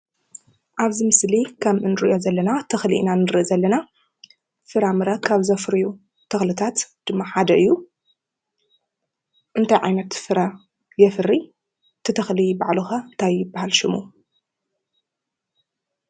ኣብዚ ምስሊ ከም እኒርእዮ ዘለና ተኽሊ ኢና ንርኢ ዘለና ።ፍራምረ ካብ ዘፍርዩ ተኽልታት ድማ ሓደ እዩ። እንታይ ዓይነት ፍረ የፍሪ ? እቲ ተኽሊ ባዕሉ ኸ እንታይ ይብሃል ሽሙ?